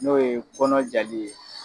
N'o ye kɔnɔ jali ye